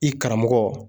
I karamɔgɔ